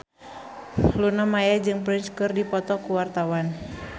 Luna Maya jeung Prince keur dipoto ku wartawan